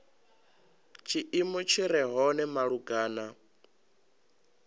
tshiimo tshi re hone malugana